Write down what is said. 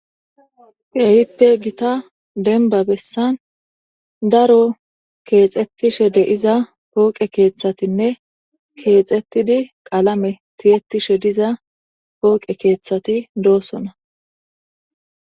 Keehippe gita denba bessan daro keexettishe deiza pooqe keeththatinne keexettidi qalame tiyettishe diza pooqe keeththati doosona